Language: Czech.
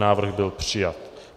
Návrh byl přijat.